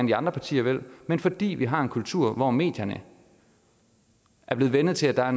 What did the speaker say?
de andre partier vil men fordi vi har en kultur hvor medierne er blevet vænnet til at der er